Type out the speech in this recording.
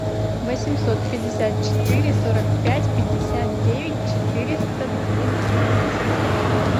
восемьсот пятьдесят четыре сорок пять пятьдесят девять четыреста двенадцать